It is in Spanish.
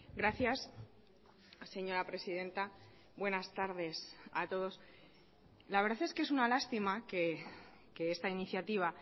gracias señora presidenta buenas tardes a todos la verdad es que es una lástima que esta iniciativa